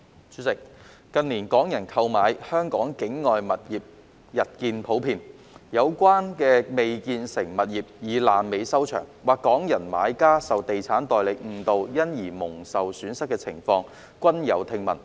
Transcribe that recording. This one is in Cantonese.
主席，近年，港人購買香港境外物業日見普遍，而有關的未建成物業以"爛尾"收場，或港人買家受地產代理誤導因而蒙受損失的情況，均時有聽聞。